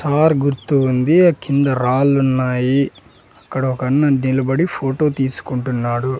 Are గుర్తు ఉంది ఆ కింద రాళ్లున్నాయి అక్కడ ఒకన్న నిలబడి ఫోటో తీసుకుంటున్నాడు.